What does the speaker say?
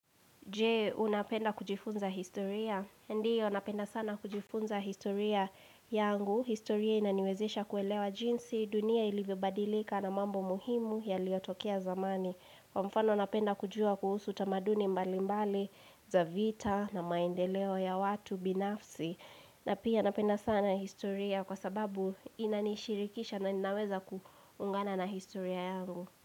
Je, unapenda kujifunza historia. Ndio, napenda sana kujifunza historia yangu. Historia inaniwezesha kuelewa jinsi, dunia ilivyobadilika na mambo muhimu yaliyotokia zamani. Kwa mfano, napenda kujua kuhusu tamaduni mbalimbali, za vita na maendeleo ya watu binafsi. Na pia, napenda sana historia kwa sababu inanishirikisha na inaweza kuungana na historia yangu.